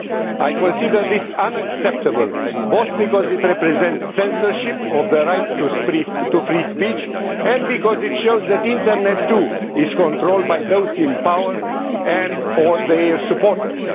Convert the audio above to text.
I consider this unacceptable, both because it represents censorship of the right to free speech and because it shows that the Internet, too, is controlled by those in power and or their supporters.